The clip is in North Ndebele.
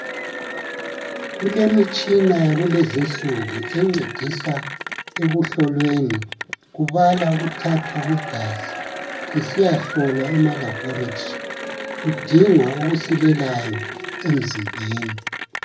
Kulemitshina yakulezinsuku encedisa ekuhlolweni kubala ukuthathwa kwegazi lisiyahlolwa ema-laboratory, kudingwa okusilelayo emzimbeni.